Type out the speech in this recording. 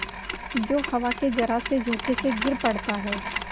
जो हवा के जरासे झोंके से गिर पड़ता है